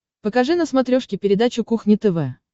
покажи на смотрешке передачу кухня тв